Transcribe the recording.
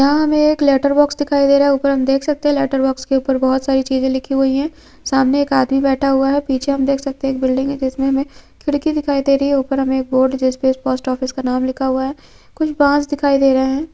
यहाँ हमे एक लेटर बॉक्स दिखाई दे रहा है ऊपर हम देख सकते है लेटर बॉक्स के ऊपर बहुत सारी चीजे लिखी हुई हैं सामने एक आदमी बैठा हुआ है पीछे हम देख सकते हैं एक बिल्डिंग है जिसमें हमें खिड़की दिखाई दे रही है ऊपर बोर्ड जिस पर पोस्ट ऑफिस नाम लिखा हुआ है कुछ बांस दिखाई दे रहे हैं।